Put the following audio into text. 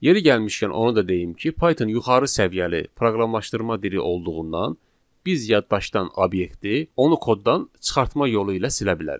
Yeri gəlmişkən onu da deyim ki, Python yuxarı səviyyəli proqramlaşdırma dili olduğundan biz yaddaşdan obyekti onu koddandan çıxartma yolu ilə silə bilərik.